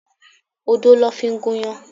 Odo ló fi gúnyán.